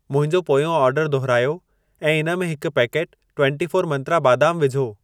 मुंहिंजो पोयों ऑर्डर दुहिरायो ऐं इन में हिकु पैकेटु ट्वन्टी फोर मंत्रा बादाम विझो।